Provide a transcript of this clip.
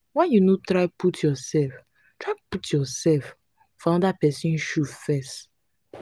why you no try put yoursef try put yoursef for anoda pesin shoe first?